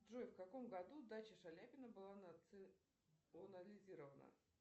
джой в каком году дача шаляпина была национализирована